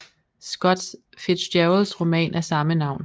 Scott Fitzgeralds roman af samme navn